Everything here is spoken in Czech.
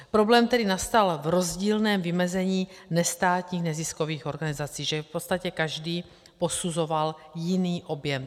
Problém tedy nastal v rozdílném vymezení nestátních neziskových organizací, že v podstatě každý posuzoval jiný objem.